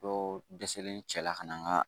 Dɔ dɛsɛlen cɛla ka na n'a ye